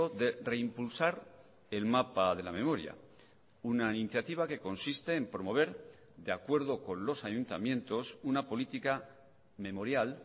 de reimpulsar el mapa de la memoria una iniciativa que consiste en promover de acuerdo con los ayuntamientos una política memorial